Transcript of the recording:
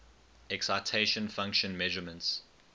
excitation function measurements